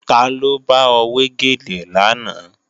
Taló bá ọ wé gèlè lánàá